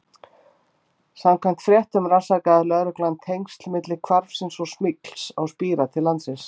Samkvæmt fréttum rannsakaði lögreglan tengsl milli hvarfsins og smygls á spíra til landsins.